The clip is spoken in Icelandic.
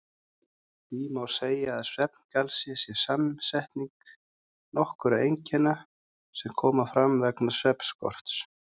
Því má segja að svefngalsi sé samsetning nokkurra einkenna sem koma fram vegna svefnskorts.